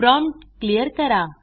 prompt clear करा